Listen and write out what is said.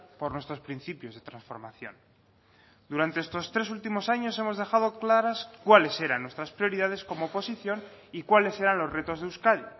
por nuestros principios de transformación durante estos tres últimos años hemos dejado claras cuáles eran nuestras prioridades como oposición y cuáles eran los retos de euskadi